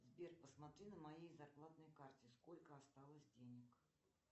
сбер посмотри на моей зарплатной карте сколько осталось денег